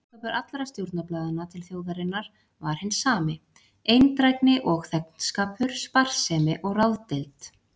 Boðskapur allra stjórnarblaðanna til þjóðarinnar var hinn sami: eindrægni og þegnskapur, sparsemi og ráðdeild.